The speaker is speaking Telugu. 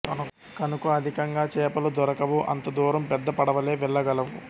కనుక అధికంగా చేపలు దొరకవు అంత దూరం పెద్ద పడవలే వెళ్లగలవు